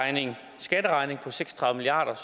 skatteregning på seks og tredive milliard